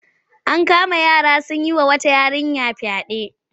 An kama yara sun yi wa wata yarinya fyaɗe.